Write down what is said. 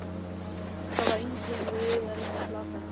Það var engin leið að reyna að plata hana.